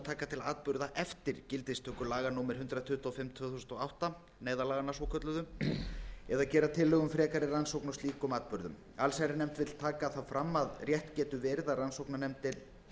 taka til atburða eftir gildistöku laga númer hundrað tuttugu og fimm tvö þúsund og átta neyðarlaganna svokölluðu eða gera tillögu um frekari rannsókn á slíkum atburðum nefndin vill taka það fram að rétt getur verið að rannsóknarnefndir